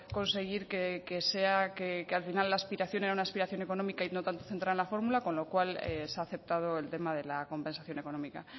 conseguir que sea que al final la aspiración era una aspiración económica y no tanto centrada en la fórmula con lo cual se ha aceptado el tema de la compensación económica